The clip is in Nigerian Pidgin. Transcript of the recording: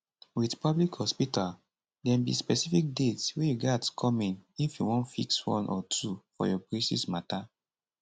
wit public hospital dem be specific dates wey you gatz come in if you wan fix one or two for your braces mata